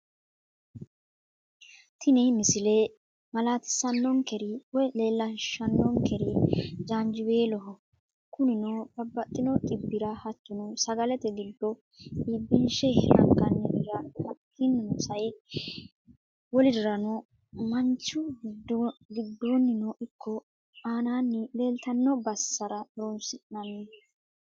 tinni misille mallatisanokkeri (lellishanokeri) janjiwelloho kunninno baabaxino dhibirra hattono sagaalete giddo, ibbinishe angaanirirra hakkinno sa'e woollirirranno manichu gidoninno Iko anani lelitano bassarra horonsinanni.